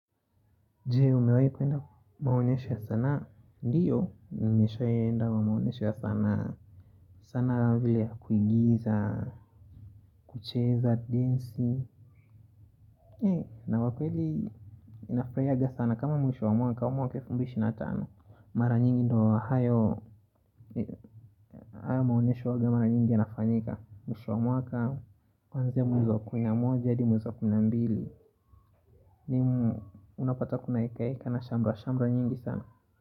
Je, umewai kwenda maonyesho ya sanaa, ndio, nimeshawaienda maonyesho ya sanaa, sanaa vile ya kuigiza, kucheza, dansi He, na kwa kweli, inafanyaga sana, kama mwisho wa mwaka, mwaka wa elfu mbili ishirini na tano Mara nyingi ndio hayo, hayo maonyesho huwaga mara nyingi yanafanyika Mwisho wa mwaka, kuanzia mwezi kumi na moja, hadi mwezi wa kuna mbili Nimu, unapata kuna hekaheka na shamra, shamra nyingi sana.